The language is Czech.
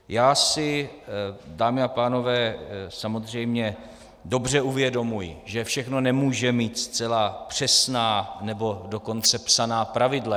Já si, dámy a pánové, samozřejmě dobře uvědomuji, že všechno nemůže mít zcela přesná, nebo dokonce psaná pravidla.